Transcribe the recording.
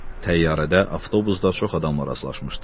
Təyyarədə, avtobusda çox adamla rastlaşmışdı.